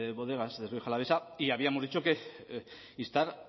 bodegas de rioja alavesa y habíamos dicho instar